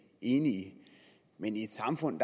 enige i men i et samfund